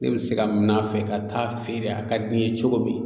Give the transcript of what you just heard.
Ne bi se k'a min'a fɛ ka taa feere a ka di n ye cogo min